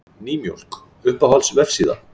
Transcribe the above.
Nýmjólk Uppáhalds vefsíða?